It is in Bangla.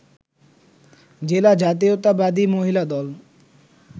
জেলা জাতীয়তাবাদী মহিলা দল